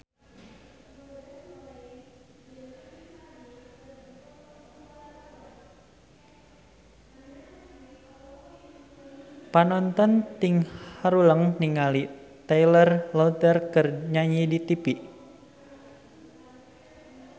Panonton ting haruleng ningali Taylor Lautner keur nyanyi di tipi